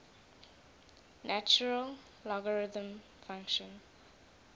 natural logarithm function